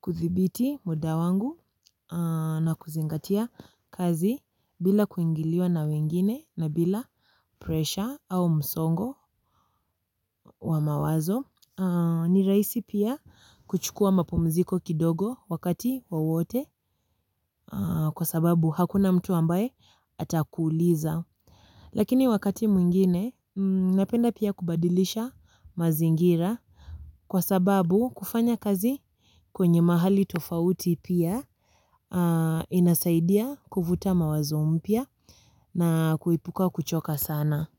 kuthibiti muda wangu na kuzingatia kazi bila kuingiliwa na wengine na bila presha au msongo wa mawazo. Ni rahisi pia kuchukua mapumziko kidogo wakati wowote kwa sababu hakuna mtu ambaye atakuuliza. Lakini wakati mwingine napenda pia kubadilisha mazingira kwa sababu kufanya kazi kwenye mahali tofauti pia inasaidia kuvuta mawazo mpya na kuepuka kuchoka sana.